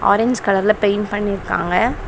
Orange கலர்ல paint பண்ணிருக்காங்க.